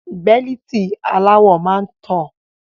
Bẹ́líìtì aláwọ máa ń tọ́